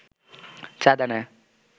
চাঁদা নেয়